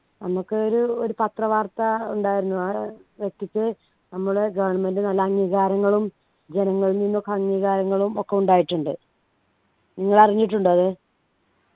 നമുക്ക് ഒരു ഒരു പത്രവാർത്ത ഉണ്ടായിരുന്നു ആ വ്യക്തിക്ക് നമ്മുടെ government നല്ല അംഗീകാരങ്ങളും ജനങ്ങളിൽ നിന്നൊക്കെ അംഗീകാരങ്ങളും ഒക്കെ ഉണ്ടായിട്ടുണ്ട് നിങ്ങൾ അറിഞ്ഞിട്ടുണ്ടോ അത്